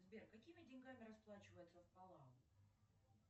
сбер какими деньгами расплачиваются в палау